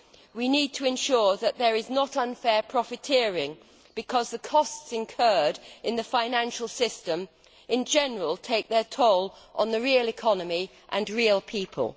We need to ensure that there is not unfair profiteering, because the costs incurred in the financial system in general take their toll on the real economy and real people.